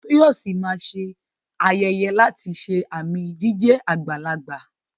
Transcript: Toyosi máa ṣe ayẹyẹ láti ṣe àmì jíjẹ́ àgbàlagbà.